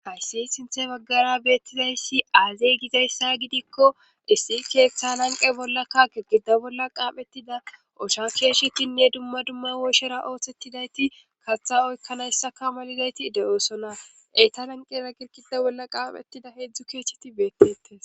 hayssi sinthe baggara beettizayssi aazey gizayssa gidikko issi keeththa nanqe bolla kake gida bolla qaapettida osha keeshshetinne dumma dumma wooshera oothettidayti kaththa oykkanayssa kamalidayti de7oosona eyta nanqera girqida bolla qaapetida heedzdzu keeheti beettetes